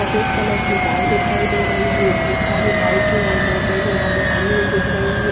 सफ़ेद कलर की कार दिखाई दे रही है इसमें साडी बाइक खड़ी दिखाई दे रही है।